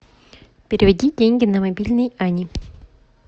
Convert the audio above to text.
переведи деньги на мобильный ани